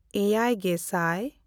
ᱮᱭᱟᱭᱼᱜᱮᱥᱟᱭ